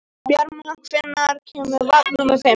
Bjarma, hvenær kemur vagn númer fimm?